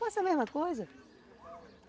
Faço a mesma coisa